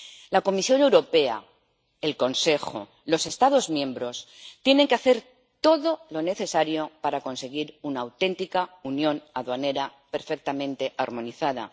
La Comisión Europea, el Consejo, los Estados miembros tienen que hacer todo lo necesario para conseguir una auténtica unión aduanera perfectamente armonizada.